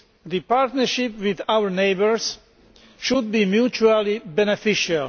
The partnership with our neighbours should be mutually beneficial.